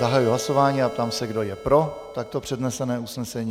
Zahajuji hlasování a ptám se, kdo je pro takto přednesené usnesení.